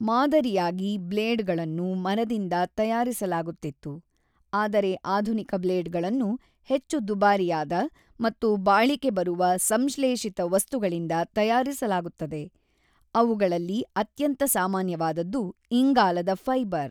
ಮಾದರಿಯಾಗಿ ಬ್ಲೇಡ್ಗಳನ್ನು ಮರದಿಂದ ತಯಾರಿಸಲಾಗುತ್ತಿತ್ತು, ಆದರೆ ಆಧುನಿಕ ಬ್ಲೇಡ್ಗಳನ್ನು ಹೆಚ್ಚು ದುಬಾರಿಯಾದ ಮತ್ತು ಬಾಳಿಕೆ ಬರುವ ಸಂಶ್ಲೇಷಿತ ವಸ್ತುಗಳಿಂದ ತಯಾರಿಸಲಾಗುತ್ತದೆ, ಅವುಗಳಲ್ಲಿ ಅತ್ಯಂತ ಸಾಮಾನ್ಯವಾದದ್ದು ಇಂಗಾಲದ ಫೈಬರ್.